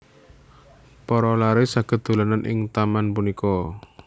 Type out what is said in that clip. Para laré saged dolanan ing taman punika